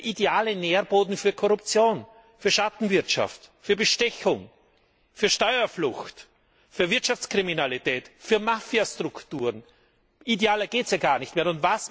Das heißt, das ist der ideale Nährboden für Korruption, für Schattenwirtschaft, für Bestechung, für Steuerflucht, für Wirtschaftskriminalität, für Mafiastrukturen. Idealer geht es gar nicht mehr.